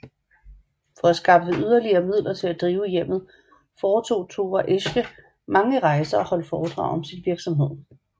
For at skaffe yderligere midler til at drive hjemmet foretog Thora Esche mange rejser og holdt foredrag om sin virksomhed